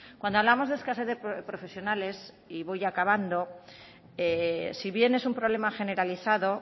cuando hablamos de escasez de profesionales y voy acabando si bien es un problema generalizado